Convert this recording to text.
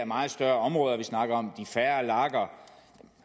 meget større områder vi snakker om de færre lager og